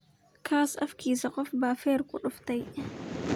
Kaas afkisa qof ba fer kuduftey.